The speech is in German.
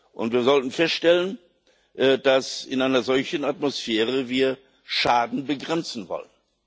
Und wir sollten feststellen, dass wir in einer solchen Atmosphäre Schaden begrenzen wollen.